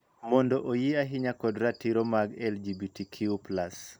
Mondo oyie ahinya kod ratiro mag LGBTQ+.